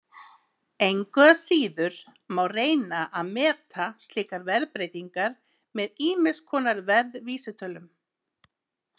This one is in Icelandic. Engu að síður má reyna að meta slíkar verðbreytingar með ýmiss konar verðvísitölum.